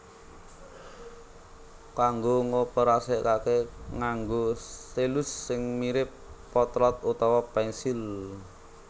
Kanggo ngoperasekake nganggo stylus sing mirip potlot utawa pensil